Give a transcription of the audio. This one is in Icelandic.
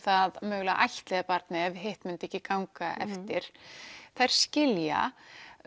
að mögulega ættleiða barnið ef hitt myndi ekki ganga eftir þær skilja